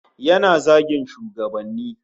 Yana zagin shugabanni